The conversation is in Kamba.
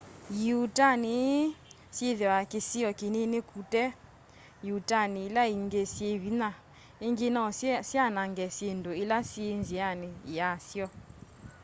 ĩuutani ii syithiwa kisio kinini kute ĩuutani ila ingi syi vinya ingi no syanange syindu ila syi nziani ya syo